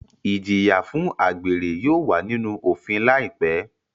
Ijiya fun agbere yóò wa ninu ofin laipe